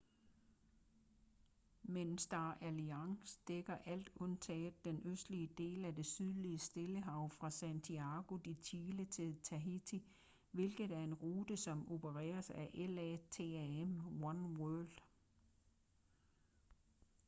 men star alliance dækker alt undtagen den østlige del af det sydlige stillehav fra santiago de chile til tahiti hvilket er en rute som opereres af latam oneworld